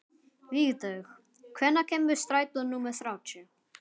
Vígdögg, hvenær kemur strætó númer þrjátíu?